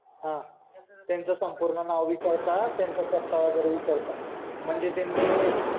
हा त्याचं संपूर्ण नाव विचारतात त्याचं पत्ता वगैरे विचारतात म्हणजे त्यांनी